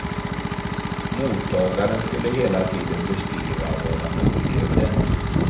Mottagaren skulle hela tiden beskriva vad han upplevde.